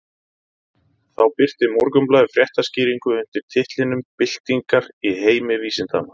Þá birti Morgunblaðið fréttaskýringu undir titlinum Byltingar í heimi vísindanna.